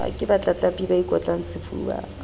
ke batlatlapi ba ikotlang sefuba